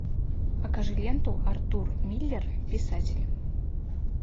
покажи ленту артур миллер писатель